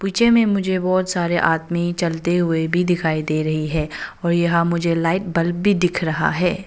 जिनमें मुझे बहुत सारे आदमी चलते हुए भी दिखाई दे रहे हैं और यहाँ मुझे लाइट बल्ब भी दिख रहा है।